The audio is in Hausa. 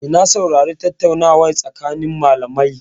Eh, na saurari tattaunawar tsakanin malamai.